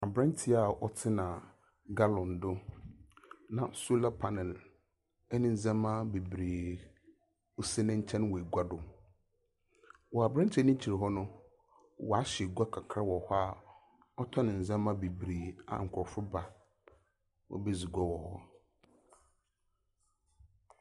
Aberantsɛ a ɔtsena gallon do na solar panel ne ndzɛmba beberee si ne nkyɛn wɔ egua do. Wɔ aberantsɛ no ekyir hɔ no, wɔahyɛ gua kakra wɔ hɔ a ɔtɔn ndzɛmba beberee a nkorɔfo ba wobedzi gua wɔ hɔ.